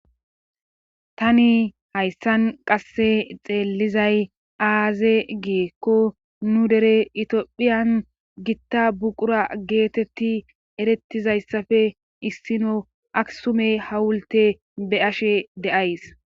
tani hayssan qasse xeellizay aaze gikko nu dere tophiyan gitta buqura geetetti erettizayssafe issino aksumey hawulte be ashe de7ays